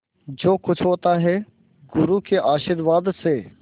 जो कुछ होता है गुरु के आशीर्वाद से